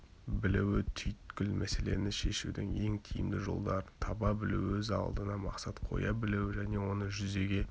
білуі-түйіткіл мәселені шешудің ең тиімді жолдарын таба білу-өз алдына мақсат қоя білуі және оны жүзеге